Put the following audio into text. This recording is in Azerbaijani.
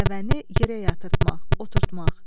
Dəvəni yerə yatırtmaq, oturtmaq.